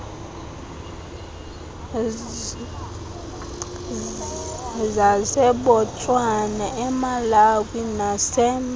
zasebotswana emalawi nase